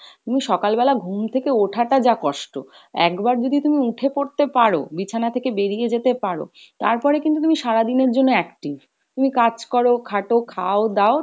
তুমি সকালবেলা ঘুম থেকে ওঠা টা যা কষ্ট। একবার যদি তুমি উঠে পরতে পারো, বিছানা থেকে বেরিয়ে যেতে পারো, তারপরে কিন্তু তুমি সারাদিনের জন্য active তুমি কাজ করো খাটো খাও দাও